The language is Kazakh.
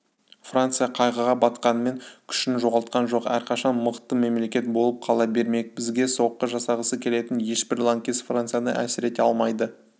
франция қайғыға батқанымен күшін жоғалтқан жоқ әрқашан мықты мемлекет болып қала бермек бізге соққы жасағысы келетін ешбір лаңкес францияны әлсірете алмайды